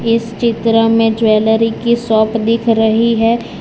इस चित्र में ज्वेलरी की शॉप दिख रही है।